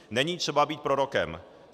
Není třeba být prorokem.